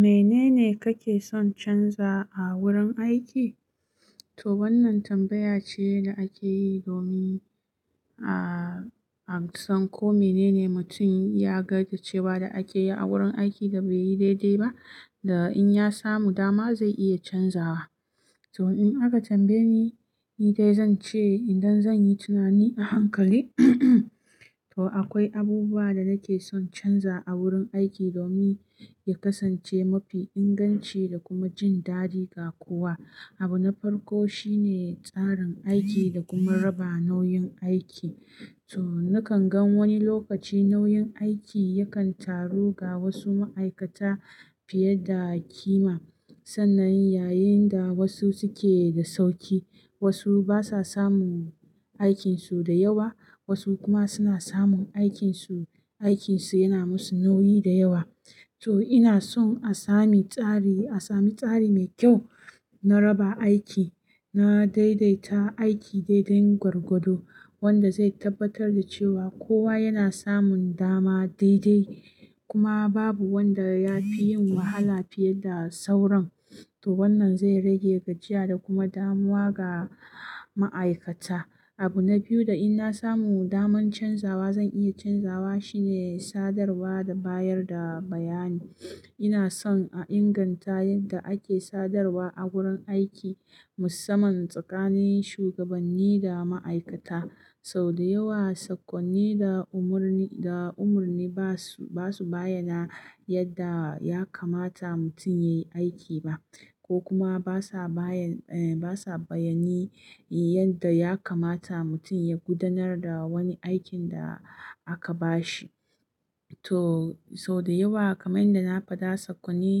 Menene kake son canza a wurin aiki? To wannan tambaya ce da ake yi domin, ah, a san ko menene mutum ya ga da cewa da ake yi a wurin aiki da bai yi daidai ba, da in ya samu dama zai iya canzawa. To in aka tambaye ni, ni dai zan ce idan zan yi tunani a hankali, to akwai abubuwa da nake son canza a wurin aiki domin ya kasance mafi inganci da kuma jin daɗi ga kowa. Abu na farko shine tsarin aiki da kuma raba nauyin aiki. To nakan gan wani lokaci nauyin aiki yakan taru ga wasu ma'aikata fiye da kima. Sana yayin da wasu suke da sauƙi, wasu basa samun aikinsu da yawa, wasu kuma suna samun aikinsu, aikinsu yana musu nauyi da yawa. To ina son a sami tsari, a sami tsari mai kyau na raba aiki, na daidaita aiki dai dai gwagwado wanda zai tabbatar da cewa kowa yana samun dama daidai kuma babu wanda ya fi yin wahala fiye da sauran. To wannan zai rage gajiya da kuma damuwa ga ma'aikata. Abu na biyu da in na samu daman canzawa zan iya canzawa shine sadarwa da bayar da bayani. Ina son a inganta yadda ake sadarwa a wurin aiki musamman tsakanin shugabanni da ma'aikata. Sau da yawa, sakonni da umarni, da umarni ba su, ba su bayyana yadda ya kamata mutum ya yi aiki ba ko kuma basa bayan, eh basa bayani yadda ya kamata mutum ya gudanar da wani aikin da aka bashi. To sau da yawa kamar yadda na faɗa sakonni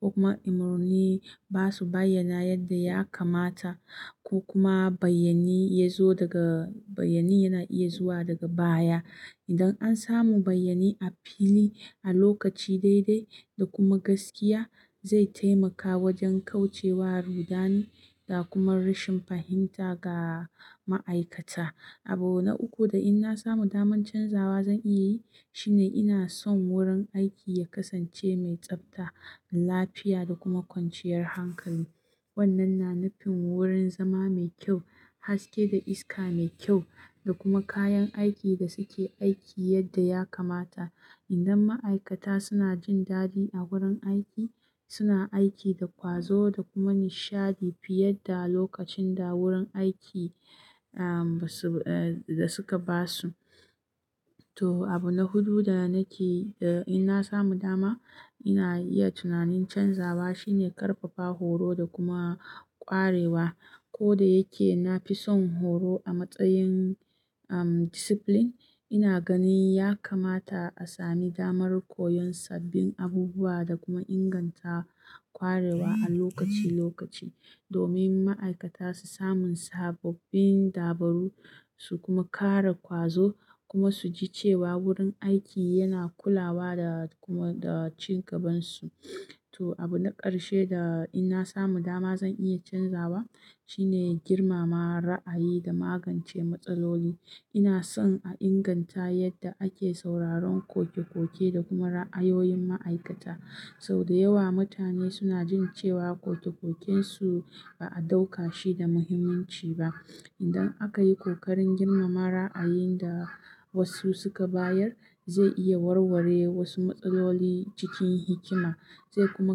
ko kuma umurni ba su bayyana yadda ya kamata ko kuma bayyani ya zo daga bayyani yana iya zuwa daga baya. Idan an samu bayyani a fili, a lokaci daidai da kuma gaskiya, zai taimaka wajen kauce wa rudani da kuma rashin fahimta ga ma'aikata. Abu na uku da in na samu daman canzawa zan iya yi shine ina son wurin aiki ya kasance mai tsafta, lafiya da kuma kwanciyar hankali. Wannan na nufin wurin zama mai kyau, haske da iska mai kyau da kuma kayan aikin da suke aiki yadda ya kamata. Idan ma'aikata suna jin daɗi a wurin aiki, suna aiki da ƙwazo da kuma nishaɗi fiye da lokacin da wurin aiki, ah, ba su, eh, da suka ba su. To abu na hudu da nake, da in na samu dama ina iya tunanin canzawa shine ƙarfafa horo da kuma ƙwarewa. Ko da yake na fi son horo a matsayin, um, discipline, ina ganin ya kamata a sami damar koyon sabbin abubuwa da kuma inganta ƙwarewa a lokaci lokaci domin ma'aikata su sami sababbin dabaru su kuma ƙara ƙwazo kuma su ji cewa wurin aiki yana kula wa da kuma da cin gaban su. To abu na ƙarshe da in na samu dama zan iya canzawa shine girmama ra'ayi da magance matsaloli. Ina son a inganta yadda ake sauraron koke-koke da kuma ra'ayoyin ma'aikata. Sau da yawa mutane suna jin cewa koke-koken su ba a ɗauka shi da muhimmanci ba. Idan aka yi ƙoƙarin girmama ra'ayin da wasu suka bayar, zai iya warware wasu matsaloli cikin hikima zai kuma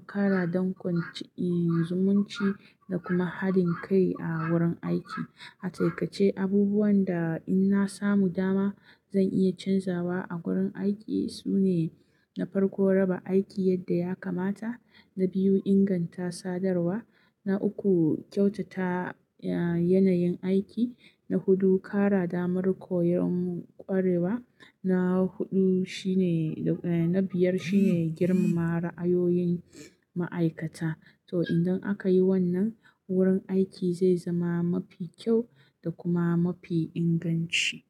ƙara dankon ci, eh, zumunci da kuma haɗin kai a wurin aiki. A taƙaice, abubuwan da in na samu dama zan iya canzawa a wurin aiki sune na farko raba aiki yadda ya kamata, na biyu inganta sadarwa, na uku kyautata, ah, yanayin aiki, na hudu ƙara damar koyon ƙwarewa, na huɗu shine, eh, na biyar shine girmama ra'ayoyin ma'aikata. To idan aka yi wannan, wurin aiki zai zama mafi kyau da kuma mafi inganci.